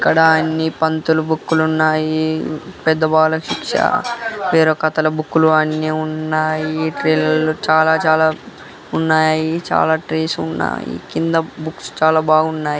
ఇక్కడ ఎన్ని పంతుల బుక్ లు ఉన్నాయి.పెద్ద బాలశిక్ష వేరే కథల బుక్ లు అన్ని ఉన్నాయి .ఈ ట్రేస్ లో చాలా చాలా ఉన్నాయి. చాలా ట్రేస్ ఉన్నాయి. చిన్న బుక్స్ చాలా ఉన్నాయి.